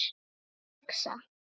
Hvað er það að hugsa?